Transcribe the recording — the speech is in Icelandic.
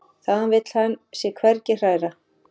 Þaðan vill hann sig hvergi hræra.